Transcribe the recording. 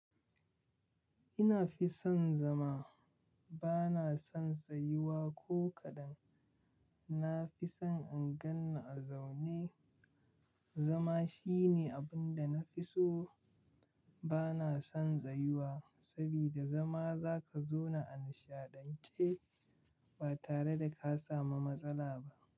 Ina fi son zama, bana son tsayuwa ko kaɗan. Na fi son in ganni a zaune. Zama shine abin da na fi so. Bana son tsayuwa sabida zama za ka zauna a nishaɗance ba tare da ka samu matsala ba.